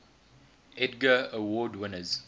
edgar award winners